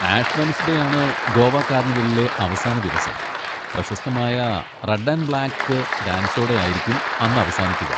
Ash Wednesday ആണ് ഗോവ കാർണിവലിലെ അവസാന ദിവസം. പ്രശസ്തമായ റെഡ് ആൻഡ് ബ്ളാക്ക് ഡാൻസോടെ ആയിരിക്കും അന്ന് അവസാനിക്കുക.